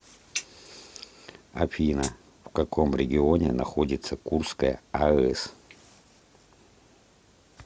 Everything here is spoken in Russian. афина в каком регионе находится курская аэс